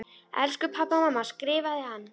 Elsku pabbi og mamma skrifaði hann.